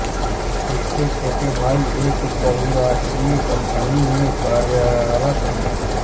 इनके छोटे भाई एक बहुराष्ट्रीय कंपनी में कार्यरत है